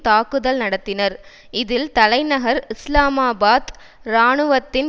தாக்குதல் நடத்தினர் இதில் தலைநகர் இஸ்லாமாபாத் இராணுவத்தின்